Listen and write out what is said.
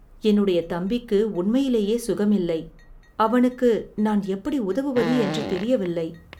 என்னுடைய தம்பிக்கு உண்மையிலேயே சுகமில்லை, அவனுக்கு நான் எப்படி உதவுவது என்று தெரியவில்லை.